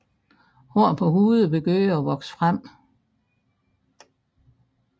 Håret på hovedet begynder at vokse frem